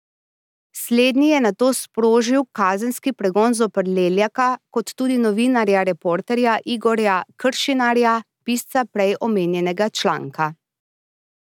Slednji je nato sprožil kazenski pregon zoper Leljaka kot tudi novinarja Reporterja Igorja Kršinarja, pisca prej omenjenega članka.